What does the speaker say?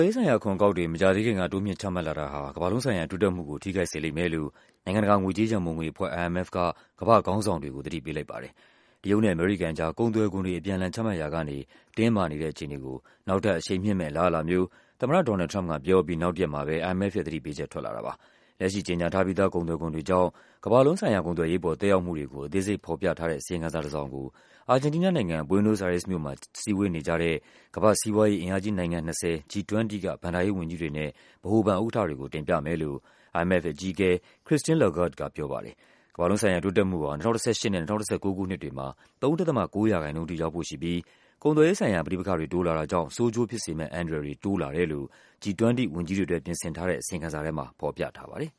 ေးဆိုင်ရာ အခွန်အကောက်တွေ မကြာသေးခင်က တိုးမြှင့်ချမှတ် လာ တာဟာ ကမ္ဘာလုံးဆိုင်ရာ တိုးတက်မှုကို ထိခိုက်စေလိမ့်မယ်လို့ နိုင်ငံတကာ ငွေကြေးရန်ပုံငွေအဖွဲ့ IMF က ကမ္ဘာ့ခေါင်းဆောင်တွေကို သတိပေးလိုက်ပါတယ်။ တရုတ်နဲ့ အမေရိကန်ကြား ကုန်သွယ်ခွန်တွေ အပြန်အလှန်ချမှတ်ရာကနေ တင်းမာနေတဲ့အခြေအနေကို နောက်ထပ်အရှိန်မြှင့်မယ့် အလားအလာမျိုး သမ္မတ ဒေါ်နယ်လ်ဒ် ထရမ့်ပ်ကပြောအပြီး နောက်တရက်မှာပဲ IMF ရဲ့သတိပေးချက် ထွက်လာတာပါ။ လက်ရှိကြေညာထားပြီးသား ကုန်သွယ်ခွန်တွေကြောင့် ကမ္ဘာ လုံး ဆိုင်ရာ ကုန်သွယ်ရေးအပေါ် သက်ရောက်မှုတွေကို အသေးစိတ် aဖာ်ပြထားတဲ့ အစီရင်ခံစာတစောင်ကို အာဂျင်တီးနားနိုင်ငံ၊ Buenos Aires မြို့မှာ စည်းဝေးနေကြတဲ့ ကမ္ဘာ့စီးပွားရေး အင်အားကြီး နိုင်ငံ ၂၀- G20 က ဘဏ္ဍာရေး ဝန်ကြီးတွေနဲ့ ဗဟိုဘဏ်ဥက္ကဋ္ဌတွေကို တင်ပြမယ်လို့ IMF အကြီးအကဲ Christine Lagarde က ပြောပါတယ်။ ကမ္ဘာလုံးဆိုင်ရာ တိုးတက်မှုဟာ ၂၀၁၈ နဲ့ ၂၀၁၉ ခုနှစ်တွေမှာ ၃.၉% အထိ ရောက်ဖို့ရှိပြီး ကုန်သွယ်ရေး ဆိုင်ရာ ပဋိပက္ခတွေ တိုးလာတာကြောင့် ဆိုးကျိုး ဖြစ်စေမယ့် အန္တရာယ်တွေ တိုးလာတယ်လို့ G20 ဝန်ကြီးတွေ အတွက် ပြင်ဆင် ထားတဲ့ အစီရင်ခံစာ ထဲမှာ ဖော်ပြထားပါတယ်။